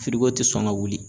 Firigo tɛ sɔn ka wuli.